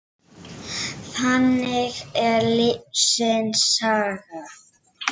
Þannig er lífsins saga.